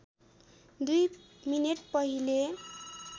दुई मिनेट पहिले